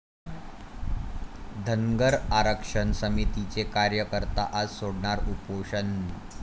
धनगर आरक्षण समितीचे कार्यकर्ते आज सोडणार उपोषण